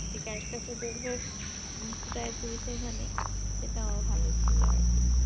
যেই character টা ধরবে ওখানে সেটাও ভালো ছিল আরকি